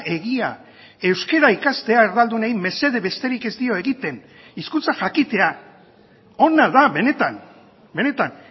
egia euskara ikastea erdaldunei mesede besterik ez dio egiten hizkuntza jakitea ona da benetan benetan